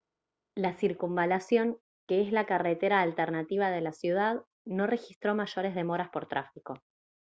la circunvalación que es la carretera alternativa de la ciudad no registró mayores demoras por tráfico